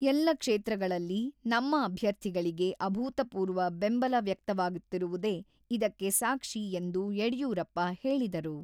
ಎಲ್ಲ ಕ್ಷೇತ್ರಗಳಲ್ಲಿ ನಮ್ಮ ಅಭ್ಯರ್ಥಿಗಳಿಗೆ ಅಭೂತಪೂರ್ವ ಬೆಂಬಲ ವ್ಯಕ್ತವಾಗುತ್ತಿರುವುದೇ ಇದಕ್ಕೆ ಸಾಕ್ಷಿ ಎಂದು ಯಡಿಯೂರಪ್ಪ ಹೇಳಿದರು.